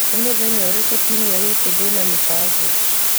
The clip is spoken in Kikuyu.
nĩ mũthenya ũrĩkũ kiumia gĩkĩ ndĩna mĩbango